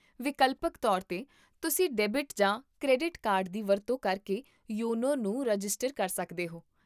ਵਿਕਲਪਕ ਤੌਰ 'ਤੇ, ਤੁਸੀਂ ਡੈਬਿਟ ਜਾਂ ਕ੍ਰੈਡਿਟ ਕਾਰਡ ਦੀ ਵਰਤੋਂ ਕਰਕੇ ਯੋਨੋ ਨੂੰ ਰਜਿਸਟਰ ਕਰ ਸਕਦੇ ਹੋ